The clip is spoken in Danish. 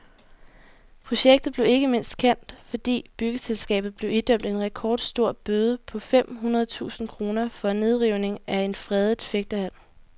Projektet blev ikke mindst kendt, fordi byggeselskabet blev idømt en rekordstor bøde på fem hundrede tusind kroner for nedrivning af en fredet fægtehal.